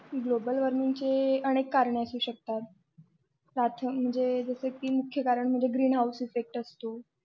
global warming अनेक कारण असू शकतात मुख्य कारण म्हणजे की green house असू शकतो